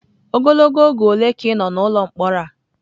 Ogologo oge ole ka ị nọ n'ụlọ mkpọrọ a?